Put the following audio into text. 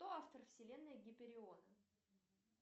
кто автор вселенной гипериона